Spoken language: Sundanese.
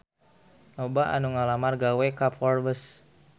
Loba anu ngalamar gawe ka Forbes